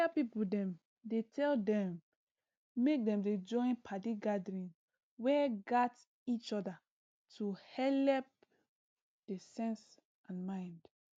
area people dem dey tell dem make dem dey join padi gathering wey gat each other to helep d sense and mind